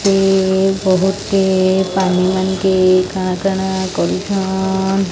ସେ ବହୁତେ ପାନିମାନ୍ କେ କାଣା କାଣା କରୁଛନ୍।